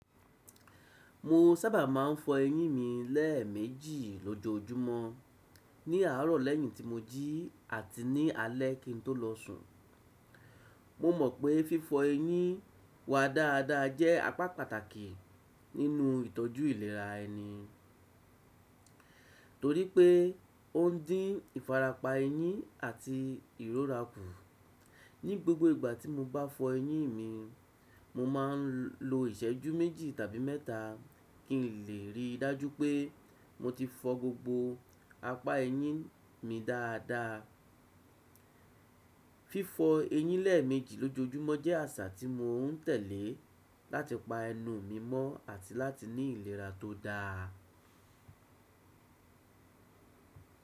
Mo sábà máa ń fọ eyín mi lẹ́ẹ̀ méjì lójoojúmọ́, ní àárọ̀ lẹ́yìn tí mo jí àti ní alẹ kí n tó lọ sùn. Mo mọ̀ pé fífọ eyín wa dáadáa jẹ́ apá pàtàkì nínú ìtọ́jú ìlera ẹni, torí pé ó ń dín ìfarapa eyín àti ìrora kù. Ní gbogbo ìgbà tí mo bá fọ eyín mi, mo máa ń lo ìṣẹ́jú méjì tàbí mẹ́ta kí n lè rí i dájú pé mo ti fọ gbogbo apá eyín mi dáadáa. Fífọ eyín lẹ́ẹ̀ méjì lójoojúmọ́ jẹ́ àṣà tí mò ń tẹ̀lé láti pa ẹnu mi mọ́ àti láti ní ìlera tó dáa.